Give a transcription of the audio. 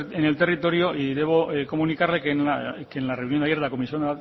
en el territorio y debo comunicarle que en la reunión de ayer de la comisión